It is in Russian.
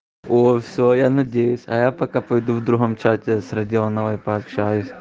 оо все я надеюсь а я пока пойду в другом чате с родионовой пообщаюсь